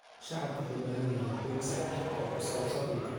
Shacabku waxay u baahan yihiin xog sax ah oo ku saabsan dhulka.